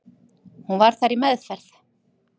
Hún var þar í meðferð.